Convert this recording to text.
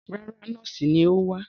Rárá, nọ́ọ́sì ni ó wá.